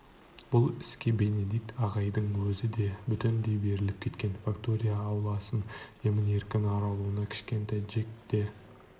бұл іске бенедикт ағайдың өзі де бүтіндей беріліп кеткен фактория ауласын емін-еркін аралауына кішкентай джекке де